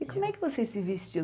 E como é que vocês se vestiam?